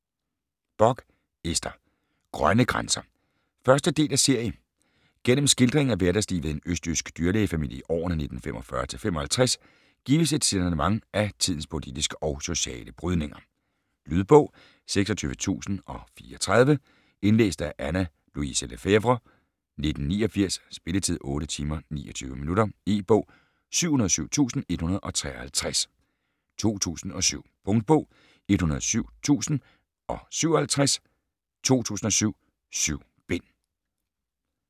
Bock, Ester: Grønne grænser 1. del af serie. Gennem skildringen af hverdagslivet i en østjysk dyrlægefamilie i årene 1945-55, gives et signalement af tidens politiske og sociale brydninger. Lydbog 26034 Indlæst af Anna Louise Lefèvre, 1989. Spilletid: 8 timer, 29 minutter. E-bog 707153 2007. Punktbog 107057 2007. 7 bind.